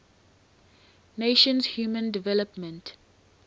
nations human development